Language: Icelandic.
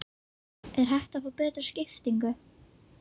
Er hægt að fá betri skiptingu?